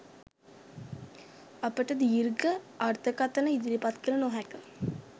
අපට දීර්ඝ අර්ථකථන ඉදිරිපත් කළ නොහැක.